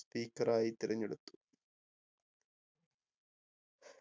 speaker ആയി തിരഞ്ഞെടുത്തു